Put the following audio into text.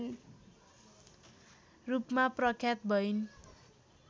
रूपमा प्रख्यात भइन्